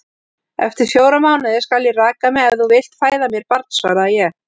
Eftir fjóra mánuði skal ég raka mig, ef þú vilt fæða mér barn, svaraði ég.